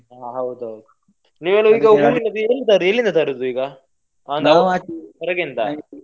ಹ ಹೌದಾ ನೀವೆಲ್ಲ ಹೂವಿನದ್ದು ಎಲ್ಲಿ~ ಎಲ್ಲಿಂದ ತರುದು ಈಗ ಹೊರಗಿಂದಾ?